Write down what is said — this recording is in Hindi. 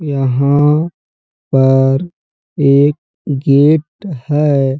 यहाँ पर एक गेट है।